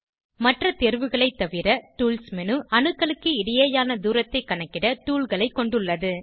மற்ற தேர்வுகளை தவிர டூல்ஸ் மேனு அணுக்களுக்கு இடையேயான தூரத்தைக் கணக்கிட toolகளை கொண்டுள்ளது